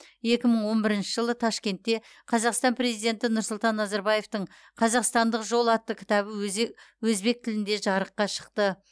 екі мың он бірінші жылы ташкентте қазақстан президенті нұрсұлтан назарбаевтың қазақстандық жол атты кітабы өзе өзбек тілінде жарыққа шықты